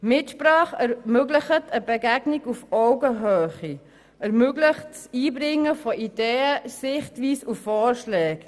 Mitsprache ermöglicht eine Begegnung auf Augenhöhe und das Einbringen von Ideen, Sichtweisen und Vorschlägen.